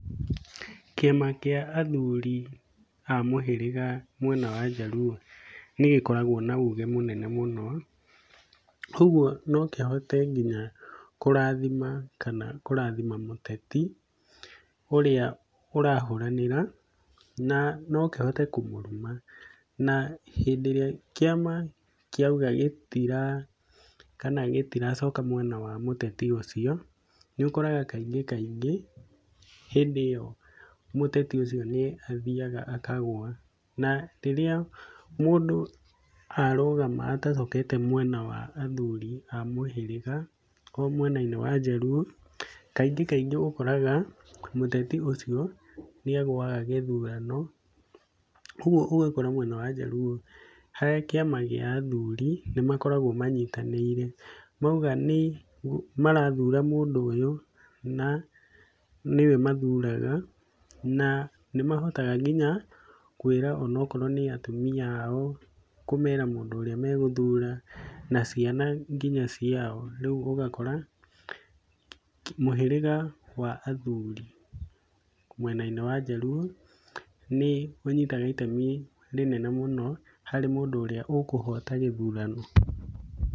Kĩama kĩa athuri a mũhĩrĩga mwena waJaluo nĩgĩkoragwo na uge mũnene mũno kuoguo no kĩhote nginya kũrathima kana kũrathima mũteti ũrĩa ũrahũranĩra na no kĩhote kũmũruma, na hĩndĩ ĩrĩa kĩama kĩauga gĩtira kana gĩtiracoka mwena wa mũteti ũcio, nĩũkoraga kaingĩ kaingĩ hĩndĩ ĩyo mũteti ũcio nĩathiaga akagwa na rĩrĩa mũndũ arũgama atacokete mwena wa athuri a mũhĩrĩga kwa mwena-inĩ wa Jaluo, kaingĩ kaingĩ ũkoraga mũteti ũcio nĩagũaga gĩthurano, ũguo ũgakora mwena wa Jaluo harĩ kĩama gĩa athuri nĩmakoragwo manyitanĩire mauga nĩ marathura mũndũ ũyũ na nĩwe mathuraga na nĩmahota nginya kwĩra onokorwo nĩ atumia ao kũmera mũndũ ũrĩa megũthura na ciana nginya ciao, rĩu ũgakora mũhĩrĩga wa athuri mwena-inĩ wa Jaluo nĩũnyitaga itemi rĩnene mũno harĩ mũndũ ũrĩa ũkũhota gĩthurano.